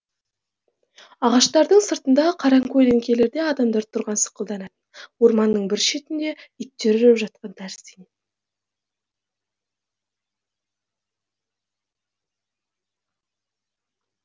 ағаштардың сыртында қаракөлеңкелерде адамдар тұрған сықылданатын орманның бір шетінде иттер үріп жатқан тәрізденетін